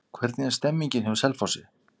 Hvernig er stemningin hjá Selfossi?